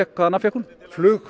hvaða nafn fékk hún flugfreyja